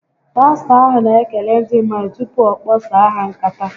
Pastọ ahụ n'ekele ndị mmadụ tupu ọ kpaso ha nkata